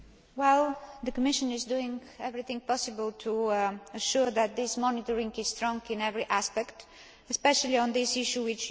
The Commission is doing everything possible to ensure that this monitoring is strong in every aspect, especially on the issue that you raised.